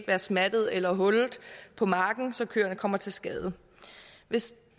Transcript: være smattet eller hullet på marken så køerne kommer til skade hvis